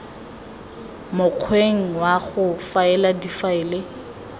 mokgweng wa go faela difaele